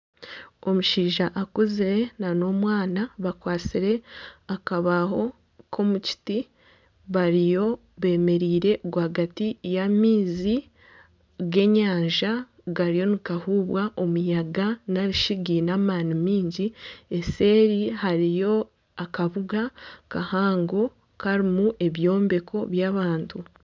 Omushaija akuzire n'omwana bakwatsire akabaaho k'omukiti bariyo bemereire rwagati y'amaizi g'enyanja gariyo nigahubwa omuyaga narishi gaine amaani mingi. Eseri hariyo akabuga kahango karimu ebyombeko by'abantu.